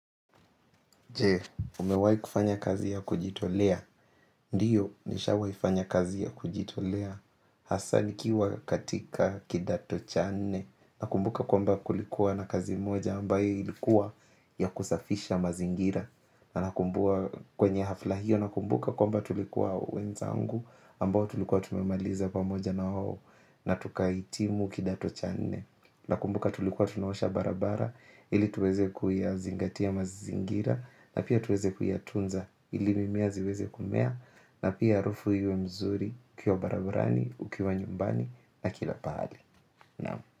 Je, umewahi kufanya kazi ya kujitolea. Ndiyo nishawaifanya kazi ya kujitolea hasa nikiwa katika kidato cha nne. Nakumbuka kwamba kulikuwa na kazi moja ambayo ilikuwa ya kusafisha mazingira. Nakumbuka kwenye hafla hiyo nakumbuka kwamba tulikuwa wenzangu ambao tulikuwa tumemaliza pamoja na wao na tukahitimu kidato cha nne. Nakumbuka tulikuwa tunaosha barabara ili tuweze kuyazingatia mazingira. Na pia tuweze kuyatunza ili mimea ziweze kumea na pia harufu iwe mzuri ukiwa barabarani ukiwa nyumbani na kila pahali. Naam.